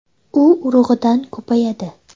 U urug‘idan ko‘payadi.